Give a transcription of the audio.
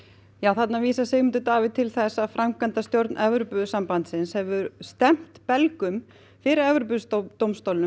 þarna vísaði Sigmundur Davíð til þess að framkvæmdastjórn Evrópusambandsins hefur stefnt Belgíu fyrir Evrópudómstólnum